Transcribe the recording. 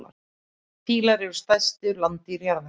Fílar eru stærstu landdýr jarðarinnar.